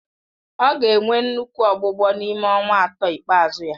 Ọ ga-enwe nnukwu ọgbụgbọ n'ime ọnwa atọ ikpeazụ ya